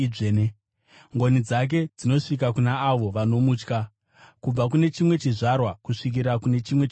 Ngoni dzake dzinosvika kuna avo vanomutya, kubva kune chimwe chizvarwa kusvikira kune chimwe chizvarwa.